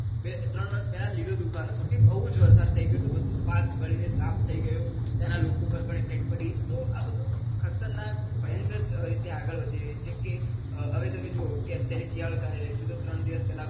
બે ત્રણ વર્ષ પેલાં લીલો દુકાળ હતો કે બૌ જ વરસાદ થઇ ગયો હતો બધું પાક બળીને સાફ થઇ ગયું ત્યાંના લોકો પર પણ effect પડી તો આ બધું ખતરનાક ભયંકર રીતે આગળ વધી રહ્યું છે કે હવે તમે જુઓ અત્યારે શિયાળો ચાલી રહ્યો છે તો ત્રણ દિવસ પેલાં